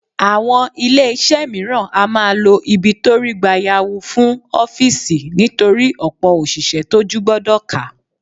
Àwọn ilé iṣẹ́ mìíràn á máa lo ibi tó rí gbayawu fún ọ́fíìsì nítorí ọ̀pọ̀ òṣìṣẹ́ tójú gbọdọ̀ ká.